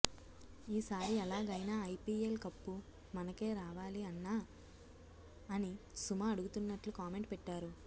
ఈ సారి ఎలాగైనా ఐపీఎల్ కప్పు మనకే రావాలి అన్నా అని సుమ అడుగుతున్నట్లు కామెంట్ పెట్టారు